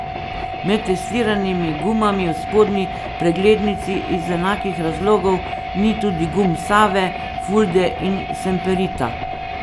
Med testiranimi gumami v spodnji preglednici iz enakih razlogov ni tudi gum Save, Fulde in Semperita.